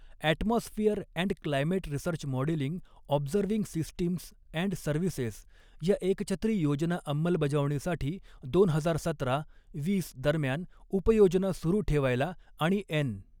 Atmosphere and climate research modelling observing systems and services या एकछत्री योजना अंमलबजावणीसाठी, दोन हजार सतरा वीस दरम्यान उप योजना सुरु ठेवायला आणि एन.